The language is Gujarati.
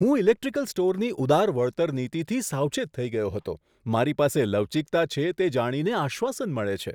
હું ઇલેક્ટ્રિકલ સ્ટોરની ઉદાર વળતર નીતિથી સાવચેત થઈ ગયો હતો, મારી પાસે લવચીકતા છે, તે જાણીને આશ્વાસન મળે છે.